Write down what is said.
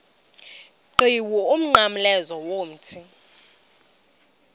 qhiwu umnqamlezo womthi